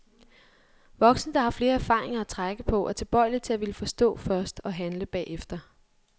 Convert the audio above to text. Voksne, der har flere erfaringer at trække på, er tilbøjelige til at ville forstå først og handle bagefter.